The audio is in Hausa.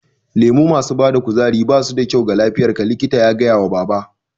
Lemo masu bada kuzari basu da kyau ga lafiyar ka, likita ya gaya wa baba